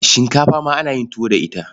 Shinkafa ma ana yin tuwo da ita.